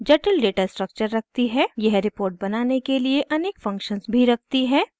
यह रिपोर्ट बनाने के लिए अनेक फंक्शन्स भी रखती है